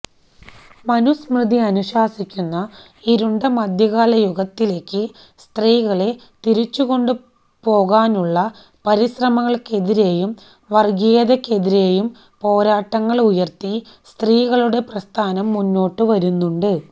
മനുസ്മൃതി അനുശാസിക്കുന്ന ഇരുണ്ട മധ്യകാലയുഗത്തിലേക്ക് സ്ത്രീകളെ തിരിച്ചുകൊണ്ടു പോകാനുള്ള പരിശ്രമങ്ങള്ക്കെതിരേയും വര്ഗ്ഗീയതയ്ക്കെതിരേയും പോരാട്ടങ്ങള് ഉയര്ത്തി സ്ത്രീകളുടെ പ്രസ്ഥാനം മുന്നോട്ടു വരുന്നുണ്ട്